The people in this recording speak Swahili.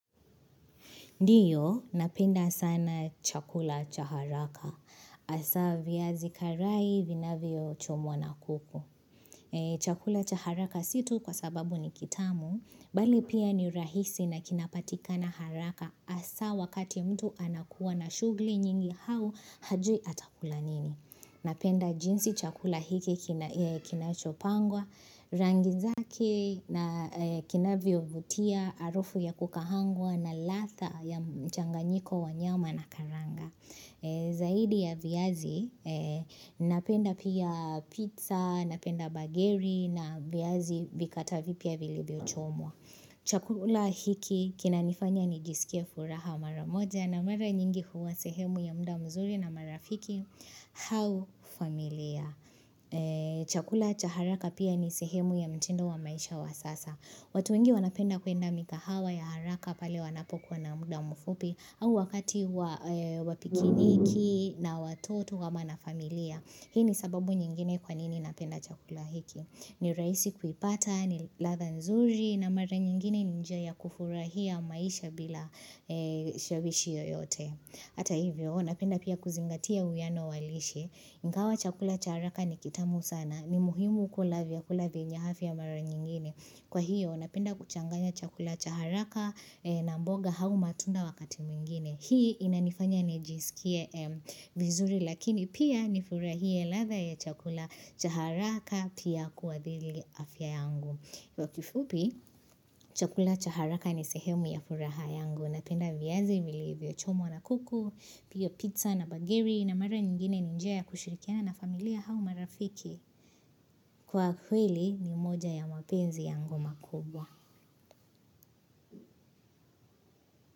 Ndio napenda sana chakula cha haraka hasa viazi karai vinavyochomwa na kuku. Chakula cha haraka si tu kwa sababu ni kitamu bali pia ni rahisi na kinapatika na haraka hasa wakati mtu anakuwa na shughuli nyingi au hajui atakula nini. Napenda jinsi chakula hiki kinachopangwa, rangi zake na kinavyovutia, harufu ya kukaangwa na ladha ya mchanganyiko wa nyama na karanga. Zaidi ya viazi, napenda pia pizza, napenda bageri na viazi vikata vipya vilivyo chomwa. Chakula hiki kinanifanya nijisikie furaha mara moja na mara nyingi huwa sehemu ya muda mzuri na marafiki. Au familia Chakula cha haraka pia ni sehemu ya mtindo wa maisha wa sasa watu wengi wanapenda kwenda mikahawa ya haraka pale wanapokuwa na muda mfupi au wakati wa pikiniki na watoto ama na familia Hii ni sababu nyingine kwa nini napenda chakula hiki ni rahisi kuipata, ni ladha nzuri na mara nyingine ni njia kufurahia maisha bila shabishi yoyote. Hata hivyo, napenda pia kuzingatia uwiano wa lishe, ingawa chakula cha haraka ni kitamu sana, ni muhimu kula vyakula venye afia mara nyingine Kwa hiyo, napenda kuchanganya chakula cha haraka na mboga au matunda wakati mwingine. Hii inanifanya nijisikie vizuri lakini pia nifurahie ladha ya chakula cha haraka pia kuwa dhili afya yangu. Iwa kifupi, chakula cha haraka ni sehemu ya furaha yangu napenda viazi vilivyochomwa na kuku, pia pizza na bagiri na mara nyingine ni njia ya kushirikiana na familia au marafiki. Kwa kweli ni moja ya mapenzi yangu makubwa.